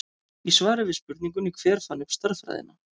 Í svari við spurningunni Hver fann upp stærðfræðina?